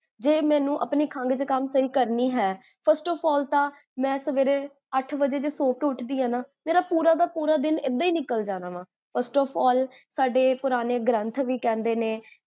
ਜੇ ਮੈਨੂ ਆਪਣੀ ਖੰਗ ਜ੍ਖਾਮ ਸਹੀ ਕਰਨੀ ਹੈ, first of all ਤਾਂ, ਮੈਂ ਸਵੇਰੇ ਅਠ ਵਜੇ ਜੇ, ਸੋ ਕੇ ਉਠਦੀ ਹਾਂ ਨਾ, ਮੇਰਾ ਪੂਰਾ ਦਾ ਪੂਰਾ ਦਿਨ, ਇੱਦਾਂ ਹੀ ਨਿਕਲ ਜਾਣਾ ਵਾ first of all, ਸਾਡੇ ਪੁਰਾਣੇ ਗ੍ਰੰਥ ਵੀ ਕਹੰਦੇ ਨੇ